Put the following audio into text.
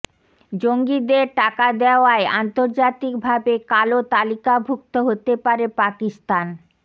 জঙ্গিদের টাকা দেওয়ায় আন্তর্জাতিক ভাবে কালো তালিকাভুক্ত হতে পারে পাকিস্তান